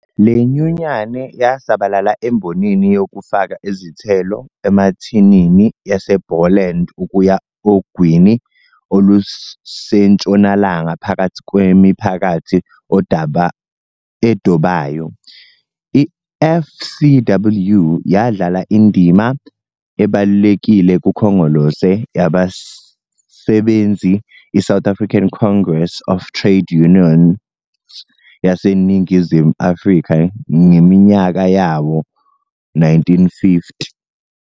Le nyunyane yasabalala embonini yokufaka izithelo emathinini yaseBoland ukuya ogwini olusentshonalanga phakathi kwemiphakathi edobayo. I-FCWU yadlala indima ebalulekile kuKhongolose Yabasebenzi iSouth African Congress of Trade Unions yaseNingizimu Afrika ngeminyaka yawo-1950.